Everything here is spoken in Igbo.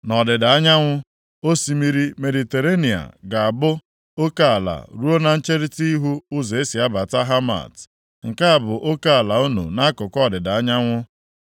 Nʼọdịda anyanwụ, osimiri Mediterenịa ga-abụ oke ala, ruo na ncherita ihu ụzọ e si abata Hamat. Nke a bụ oke ala unu nʼakụkụ ọdịda anyanwụ.